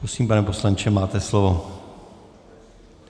Prosím, pane poslanče, máte slovo.